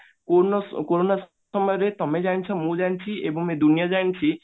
corona corona ସମୟରେ ତମେ ଜାଣିଛ ମୁଁ ଜାଣିଛି ଏବଂ ଏ ଦୁନିଆ ଜାଣିଛି